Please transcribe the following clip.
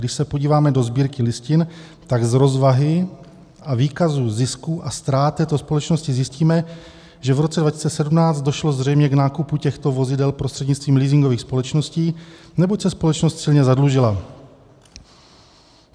Když se podíváme do Sbírky listin, tak z rozvahy a výkazů zisků a ztrát této společnosti zjistíme, že v roce 2017 došlo zřejmě k nákupu těchto vozidel prostřednictvím leasingových společností, neboť se společnost silně zadlužila.